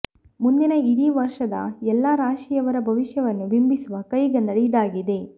ಮುಂದಿನ ಇಡೀ ಒಂದು ವರ್ಷದ ಎಲ್ಲಾ ರಾಶಿಯವರ ಭವಿಷ್ಯವನ್ನು ಬಿಂಬಿಸುವ ಕೈಗನ್ನಡಿ ಇದಾಗಿದೆ